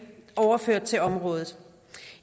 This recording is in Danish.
overført til området